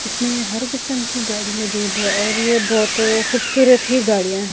इसमें हर किस्म की गाड़ी में जो है और ये बहुत खूबसूरत ही गाड़ियां हैं।